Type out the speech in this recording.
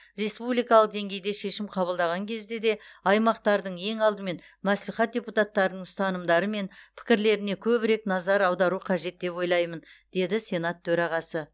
республикалық деңгейде шешім қабылдаған кезде де аймақтардың ең алдымен мәслихат депутаттарының ұстанымдары мен пікірлеріне көбірек назар аудару қажет деп ойлаймын деді сенат төрағасы